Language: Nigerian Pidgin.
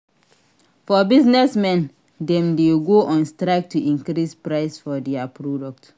For business men dem de go on strike to increase price for their product